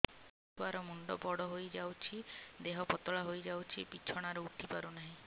ଛୁଆ ର ମୁଣ୍ଡ ବଡ ହୋଇଯାଉଛି ଦେହ ପତଳା ହୋଇଯାଉଛି ବିଛଣାରୁ ଉଠି ପାରୁନାହିଁ